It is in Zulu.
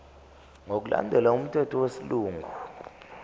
ngokulandela umthetho wesilungu